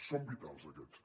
són vitals aquests